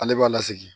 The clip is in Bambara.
Ale b'a lasigi